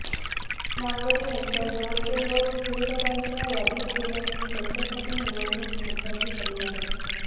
नागवडे यांच्या जवळचे लोक विरोधकांच्या यादीत गेल्याने त्यांच्यासाठी निवडणूक महत्त्वाची झाली आहे